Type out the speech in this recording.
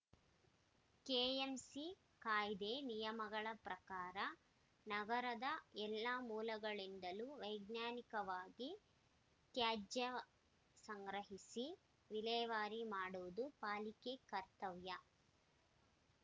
KMC ಕಾಯ್ದೆ ನಿಯಮಗಳ ಪ್ರಕಾರ ನಗರದ ಎಲ್ಲಾ ಮೂಲಗಳಿಂದಲೂ ವೈಜ್ಞಾನಿಕವಾಗಿ ತ್ಯಾಜ್ಯ ಸಂಗ್ರಹಿಸಿ ವಿಲೇವಾರಿ ಮಾಡುವುದು ಪಾಲಿಕೆ ಕರ್ತವ್ಯ